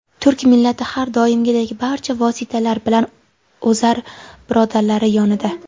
Turk millati har doimgidek barcha vositalar bilan ozar birodarlari yonida.